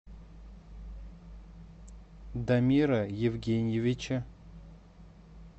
дамира евгеньевича